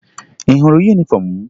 Ị hụrụ yunifọmụ m?